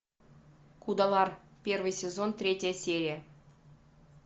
кудалар первый сезон третья серия